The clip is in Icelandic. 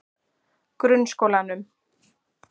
Grunnskólanum